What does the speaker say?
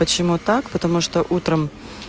почему так потому что утром